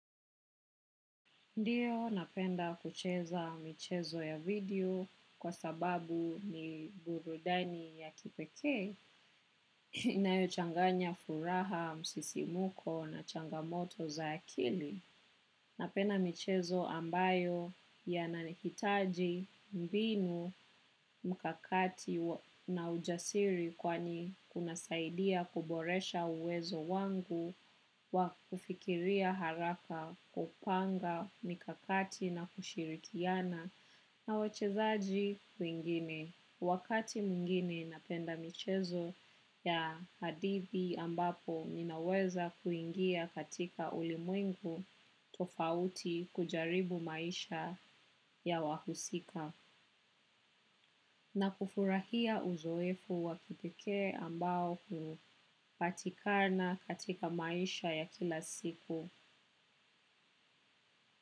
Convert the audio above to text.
Ndiyo napenda kucheza michezo ya video kwa sababu ni burudani ya kipekee inayo changanya furaha, msisimuko na changamoto za akili. Napenda michezo ambayo yanahitaji mbinu mkakati na ujasiri kwani una saidia kuboresha uwezo wangu wa kufikiria haraka kupanga mkakati na kushirikiana na wachezaji wengine. Wakati mwinge napenda michezo ya hadithi ambapo ninaweza kuingia katika ulimungu tofauti kujaribu maisha ya wahusika na kufurahia uzoefu wa kipekee ambao hupatikana katika maisha ya kila siku.